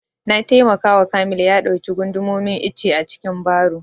Na taimaka wa kamil ya ɗauki gundumomin icce a cikin baro